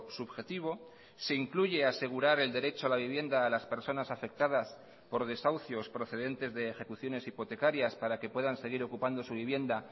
subjetivo se incluye asegurar el derecho a la vivienda a las personas afectadas por desahucios procedentes de ejecuciones hipotecarias para que puedan seguir ocupando su vivienda